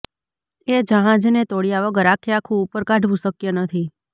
એ જહાજને તોડયા વગર આખેઆખું ઉપર કાઢવું શકય નથી